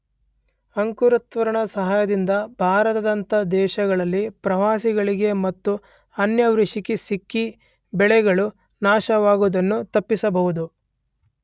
ಅಂಕುರತ್ವರಣದ ಸಹಾಯದಿಂದ ಭಾರತದಂಥ ದೇಶಗಳಲ್ಲಿ ಪ್ರವಾಹಗಳಿಗೆ ಮತ್ತು ಅನಾವೃಷ್ಟಿಗೆ ಸಿಕ್ಕಿ ಬೆಳೆಗಳು ನಾಶವಾಗುವುದನ್ನು ತಪ್ಪಿಸಬಹುದು.